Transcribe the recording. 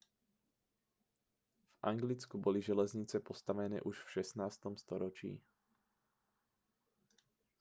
v anglicku boli železnice postavené už v 16. storočí